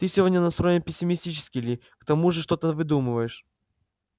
ты сегодня настроен пессимистически ли к тому же что-то выдумываешь